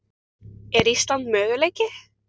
Er Ísland möguleiki?